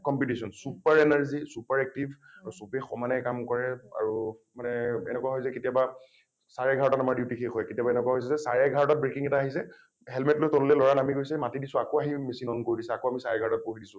competition, super energy super active আৰু চবেই সমানেই কাম কৰে আৰু মানে এনেকুৱা হয় যে কেতিয়াবা চাৰে এঘাৰটা ত আমাৰ duty শেষ হয় । কেতিয়াবা এনেকুৱা হৈছে যে চাৰে এঘাৰটাত breaking এটা আহিছে relate লৈ তললৈ লৰা নামি গৈছে মাতি দিছোঁ আকৌ আহি machine on কৰি দিছে আকৌ আমি চাৰে এঘাৰটাত পঢ়িছোঁ।